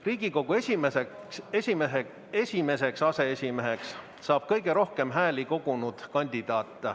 Riigikogu esimeseks aseesimeheks saab kõige rohkem hääli kogunud kandidaat.